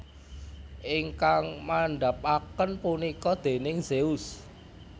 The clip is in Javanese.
Ingkang mandhapaken punika déning Zeus